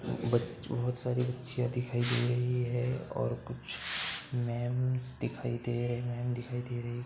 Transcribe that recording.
बच बोहत सारी बच्चियां दिखाई दे रही हैं और कुछ मैम दिखाई दे रही हैं मैम दिखाई दे रही |